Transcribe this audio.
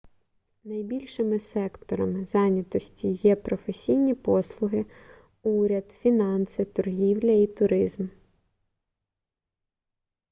найбільшими секторам зайнятості є професійні послуги уряд фінанси торгівля і туризм